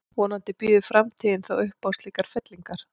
Vonandi býður framtíðin þó upp á slíkar fyllingar.